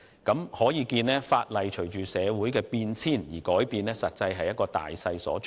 由此可見，法例隨着社會的變遷不斷改變，實在是大勢所趨。